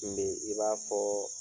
Kun bɛ i b'a fɔ